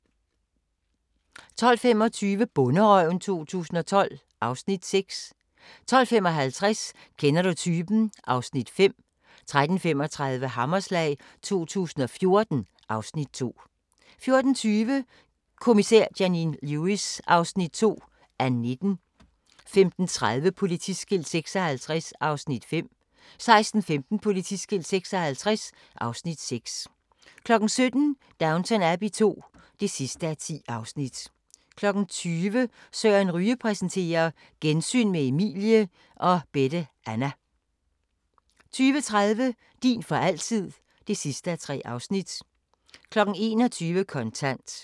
12:25: Bonderøven 2012 (Afs. 6) 12:55: Kender du typen? (Afs. 5) 13:35: Hammerslag 2014 (Afs. 2) 14:20: Kommissær Janine Lewis (2:19) 15:30: Politiskilt 56 (Afs. 5) 16:15: Politiskilt 56 (Afs. 6) 17:00: Downton Abbey II (10:10) 20:00: Søren Ryge præsenterer: Gensyn med Emilie og Bette Anna 20:30: Din for altid (3:3) 21:00: Kontant